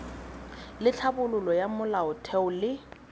le tlhabololo ya molaotheo le